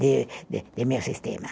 de de de meu sistema.